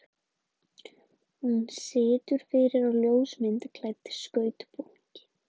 Hún situr fyrir á ljósmynd klædd skautbúningi.